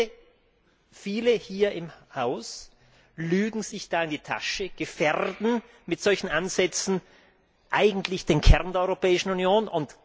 Ich fürchte, viele hier im Haus lügen sich da in die Tasche, gefährden mit solchen Ansätzen eigentlich den Kern der Europäischen Union.